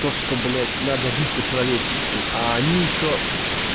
то что блять надо жить по-человечески а они ещё